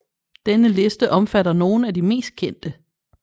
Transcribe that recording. Denne liste omfatter nogle af de mest kendte